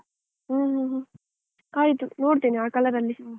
ಹ್ಮ್ ಆಯ್ತು ನೋಡ್ತೇನೆ. ಆ colour ಅಲ್ಲಿ